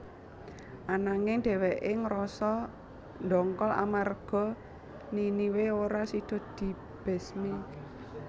Ananging dhèwèké ngrasa ndongkol amarga Niniwe ora sida dibesmi